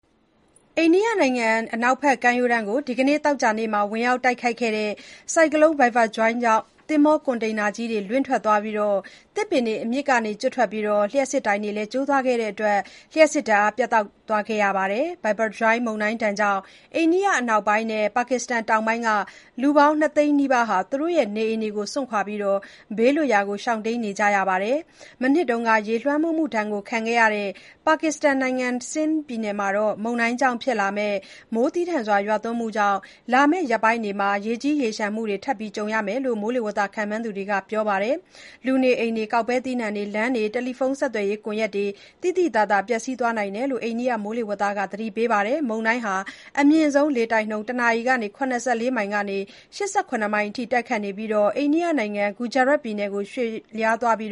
အိန္ဒိယနိုင်ငံ အနောက်ဘက်ကမ်းရိုးတန်းကို ဒီနေ့ သောကြာနေ့ ဝင်ရောက်တိုက်ခတ်ခဲ့တဲ့ ဆိုင်ကလုန်း Biparjoy ကြောင့် သင်္ဘောကွန်တိန်နာကြီးတွေ လင့်ထွက်သွားပြီး၊ သစ်ပင်တွေ အမြစ်ကနေကျွတ်ထွက်ကာ လျှပ်စစ်တိုင်တွေလည်းကျိုးသွားခဲ့တဲ့အတွက် လျှပ်စစ်ဓာတ်အား ပြတ်တောက်သွားခဲ့ရပါတယ်။ Biparjoy မုန်တိုင်းဒဏ်ကြောင့် အိန္ဒိယအနောက်ပိုင်းနဲ့ ပါကစ္စတန်တောင်ပိုင်းက လူပေါင်း ၂သိန်း နီးပါးဟာ သူတို့ရဲ့ နေအိမ်တွေကို စွန့်ခွာပြီး ဘေးလွတ်ရာကို ရှောင်တိမ်းနေကြရပါတယ်။ မနှစ်က ရေလွှမ်းမိုးမှုဒဏ်ခံခဲ့ရတဲ့ ပါကစ္စတန်နိုင်ငံ Sindh ပြည်နယ်မှာ မုန်တိုင်းကြောင့်ဖြစ်လာမယ့် မိုးသည်းထန်စွာရွာသွန်းမှုကြောင့် လာမယ့်ရက်ပိုင်းတွေမှာ ရေကြီးရေလျှံမှုတွေ ထပ်မံကြုံတွေ့ရလိမ့်မယ်လို့ မိုးလေဝသခန့်မှန်းသူတွေက ပြောပါတယ်။ လူနေအိမ်တွေ၊ ကောက်ပဲသီးနှံတွေ၊ လမ်းတွေနဲ့ တယ်လီဖုန်းဆက်သွယ်ရေးကွန်ရက်တွေ သိသိသာသာ ပျက်ဆီးနိုင်တယ်လို့ အိန္ဒိယ မိုးလေဝသဌာနက သတိပေးထားပါတယ်။ Biparjoy ဟာ အမြင့်ဆုံးလေတိုက်နှုန်း တစ်နာရီကို ၇၄ မိုင် ကနေ ၈၇ မိုင် အထိ တိုက်ခတ်နေပြီး၊ အိန္ဒိယနိုင်ငံ ဂူဂျာရတ်ပြည်နယ်ကို ရွေ့လျားသွားပြီး